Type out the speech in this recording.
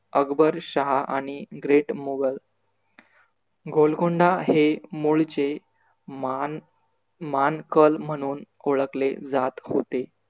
अकबर शहा आणि great मुघल गोलकोंडा हे मुळचे मान मानकल म्हणून ओळखले जात होते.